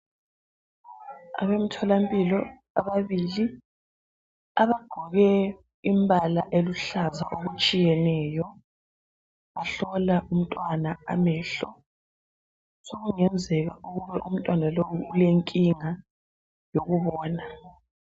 Abemtholampilo ababili abagqoke imbala eluhlaza okutshiyeneyo bahlola umntwana amehlo sokungenzeka ukuba umntwana lowu ulenkinga yokubona.